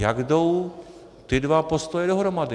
Jak jdou ty dva postoje dohromady?